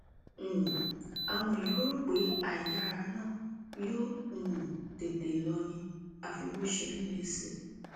um àwọn èèyàn rò pé àìyáára náà yóò um tètè lọ ni àfi bó ṣe ń le sí i